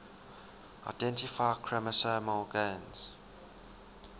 identify chromosomal gains